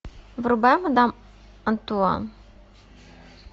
врубай мадам антуан